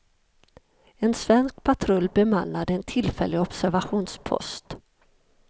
En svensk patrull bemannade en tillfällig observationspost.